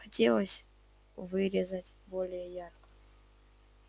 хотелось выразиться более ярко